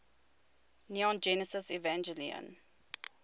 neon genesis evangelion